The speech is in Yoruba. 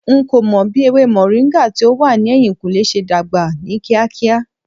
N ko mo bi ewe moringa ti o wa ni ehinkunle se dagba ni kiakia